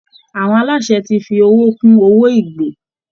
Àwọn aláṣẹ ti fi owó kún owó ìgbé